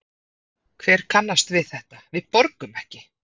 Hver kannast við þetta, við borgum ekki?